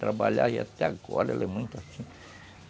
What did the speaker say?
Trabalhava e até agora ela é muito assim.